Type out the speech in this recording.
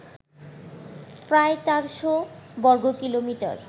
প্রায় চারশো বর্গকিলোমিটার